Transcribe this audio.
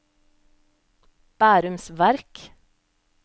Bærums Verk